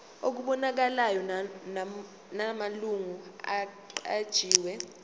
okubonakalayo namalungu aqanjiwe